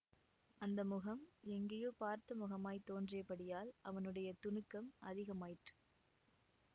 அந்த முகம் எங்கேயோ பார்த்த முகமாய்த் தோன்றியபடியால் அவனுடைய துணுக்கம் அதிகமாயிற்று